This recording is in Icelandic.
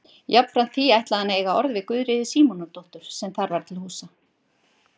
Jafnframt því ætlaði hann að eiga orð við Guðríði Símonardóttur sem þar var til húsa.